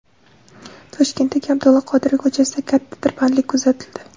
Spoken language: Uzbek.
Toshkentdagi Abdulla Qodiriy ko‘chasida katta tirbandlik kuzatildi.